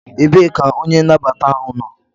Ebee ka onye nnabata ahụ nọ?